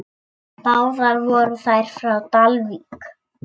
Báðar voru þær frá Dalvík.